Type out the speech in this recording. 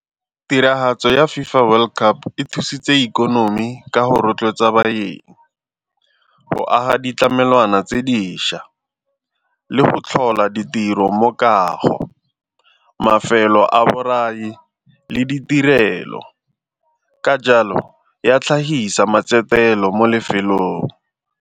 Tiragatso ya FIFA World Cup e thusitse ikonomi ka go rotloetsa baeng, go aga ditlamelwana tse dišwa le go tlhola ditiro tiro mo kago, mafelo a borai le ditirelo, ka jalo ya hlahisa mo lefelong.